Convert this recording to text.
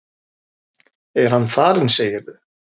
Er hann farinn, segirðu?